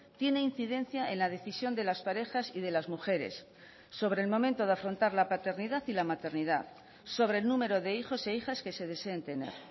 tiene incidencia en la decisión de las parejas y de las mujeres sobre el momento de afrontar la paternidad y la maternidad sobre el número de hijos e hijas que se deseen tener